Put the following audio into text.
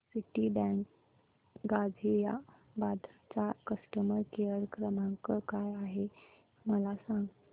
Citibank Ghaziabad चा customer care क्रमांक काय आहे मला सांग